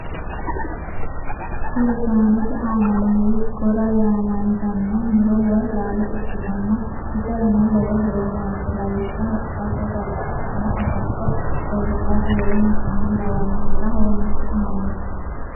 Kuri saanete aana noori gora yaamantanno muro woy laalo ikkitanna iserano lowo horo noose lawishshaho itate, babaxitinno agatto loosirate woleno konne lawannorira horonsi'nanni.